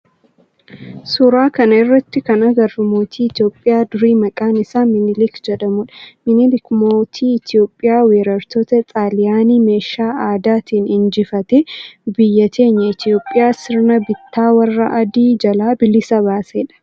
suuraa kana irratti kan agarru mootii Itiyoophiyaa durii maqaan isaa Minilik jedhamudha. Minilik mootii Itiyoophiyaa weerartoota xaaliyaanii meeshaa aadaatin injifatee biyya teenya Itiyoophiyaa sirna bittaa warra adii jalaa bilisa baasedha.